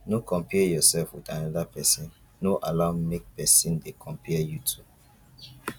no compare yourself with another persin no allow make persin de compare you too